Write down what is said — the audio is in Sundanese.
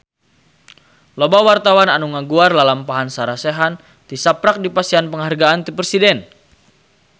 Loba wartawan anu ngaguar lalampahan Sarah Sechan tisaprak dipasihan panghargaan ti Presiden